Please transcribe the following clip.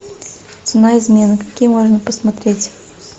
цена измены какие можно посмотреть